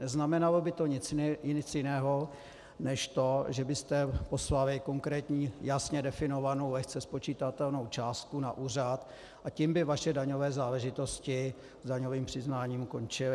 Neznamenalo by to nic jiného než to, že byste poslali konkrétní, jasně definovanou, lehce spočitatelnou částku na úřad, a tím by vaše daňové záležitosti s daňovým přiznáním končily.